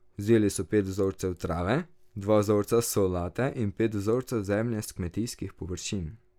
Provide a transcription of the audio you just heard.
Vzeli so pet vzorcev trave, dva vzorca solate in pet vzorcev zemlje s kmetijskih površin.